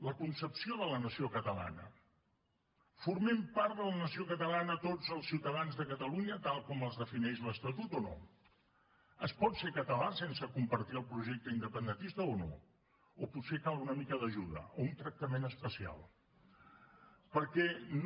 la concepció de la nació catalana formem part de la nació catalana tots els ciutadans de catalunya tal com els defineix l’estatut o no es pot ser català sense compartir el projecte independentista o no o potser cal una mica d’ajuda o un tractament especial perquè no